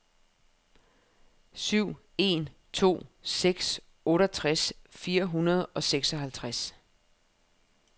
syv en to seks otteogtres fire hundrede og seksoghalvtreds